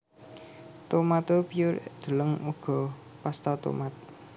Tomato purée deleng uga pasta tomat